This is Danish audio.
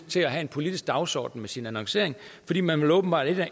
til at have en politisk dagsorden med sin annoncering fordi man åbenbart ikke